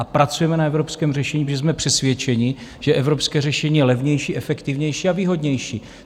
A pracujeme na evropském řešení, protože jsme přesvědčeni, že evropské řešení je levnější, efektivnější a výhodnější.